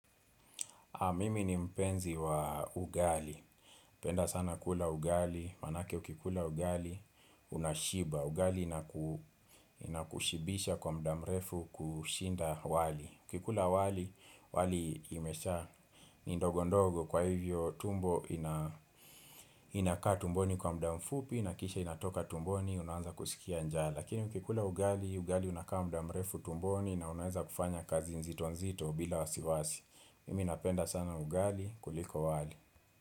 Mimi ni mpenzi wa ugali, penda sana kula ugali, maanake ukikula ugali, unashiba, ugali ina inakushibisha kwa muda mrefu kushinda wali ukikula wali, wali imesha ni ndogo ndogo kwa hivyo tumbo ina inakaa tumboni kwa muda mfupi na kisha inatoka tumboni, unaanza kusikia njaa Lakini ukikula ugali, ugali unakaa muda mrefu tumboni na unaeza kufanya kazi nzito nzito bila wasiwasi Mimi napenda sana ugali kuliko wali.